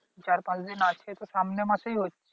চার পাঁচ দিন আছে তো সামনের মাসেই হচ্ছে